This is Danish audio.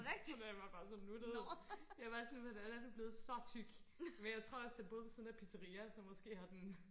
og den var bare så nuttet jeg var bare sådan hvordan er du blevet så tyk men jeg tror også den boede ved siden af et pizzaria så måske har den